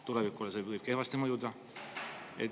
Tulevikule see võib kehvasti mõjuda.